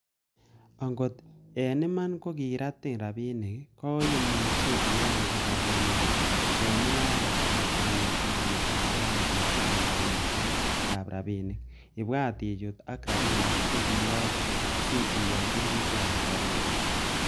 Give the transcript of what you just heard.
Angot en iman ko kiratin rabinik, koimuche ipangan rabinikuk en mungaret ab konetishiet ab soetab koitosiek ab rabinik-ibwat ichut ak rabinik che kiriyokte si iyai sirutik ab rabinik.